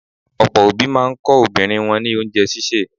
Ọ̀pọ̀ òbí máa ń kọ́ ọmọbìnrin wọn ní oúnjẹ sísè.